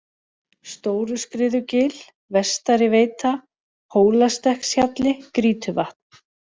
Stóruskriðugil, Vestari-Veita, Hólastekkshjalli, Grýtuvatn